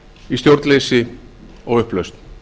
í stjórnleysi og upplausn